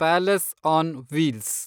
palace on wheels